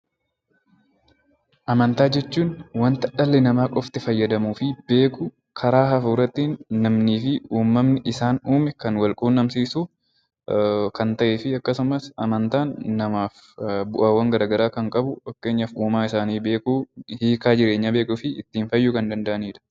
Amantaa jechuun wanta dhalli namaa qofti fayyadamuu fi beeku karaa hafuuraatiin namni fi uumaan isaan uume kan wal quunnamsiisu kan ta'ee fi akkasumas amantaan namaaf bu'aawwan garaagaraa kan qabudha. Fakkeenyaaf uumaa isaanii beekuu fi ittiin fayyuu kan danda'anidha